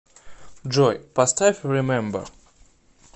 джой поставь ремембер